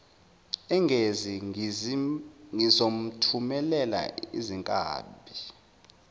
engezi ngizomthumelela izinkabi